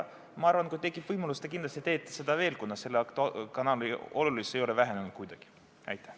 Ma arvan, et kui tekib võimalus, siis te kindlasti teete seda veel, kuna selle kanali olulisus ei ole kuidagi vähenenud.